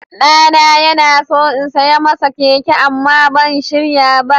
Ɗana yana so in saya masa keke amma ban shirya ba.